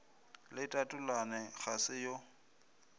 le tatalona ga se yo